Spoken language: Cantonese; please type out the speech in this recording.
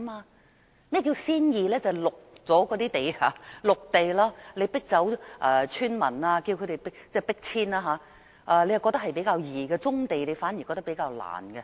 甚麼叫"先易"，就是先發展那些綠地，即要迫走村民、要迫遷，政府覺得是較易，發展棕地卻反而覺得是較難。